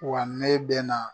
Wa ne bɛna